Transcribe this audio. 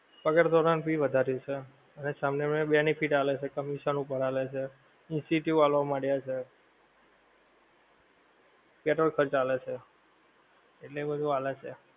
પગાર ધોરણ ભી વધારી છે. અને વાળાને benefit આલે છે, commission ઉપર આલે છે, incentive આલ્વા માંડ્યા છે. પેટ્રોલ પર ચાલે છે. એટલે એ બધુ હાલે છે.